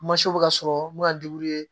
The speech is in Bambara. bɛ ka sɔrɔ mun bɛ ka